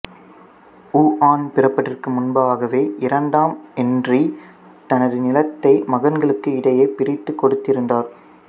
ஊஆன் பிறப்பதற்கு முன்பாகவே இரண்டாம் என்றி தனது நிலத்தை மகன்களுக்கு இடையே பிரித்துக் கொடுத்திருந்தார்